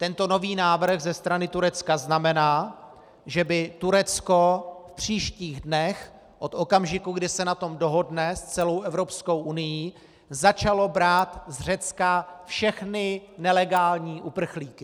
Tento nový návrh ze strany Turecka znamená, že by Turecko v příštích dnech od okamžiku, kdy se na tom dohodne s celou Evropskou unií, začalo brát z Řecka všechny nelegální uprchlíky.